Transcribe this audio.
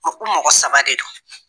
Ɔ ko mɔgɔ saba de don